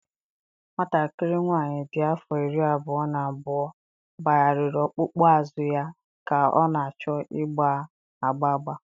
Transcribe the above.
Nwatakịrị nwanyị dị afọ iri abụọ na abụọ gbagharịrị ọkpụkpụ azụ ya ka ọ na-achọ ịgba agba agba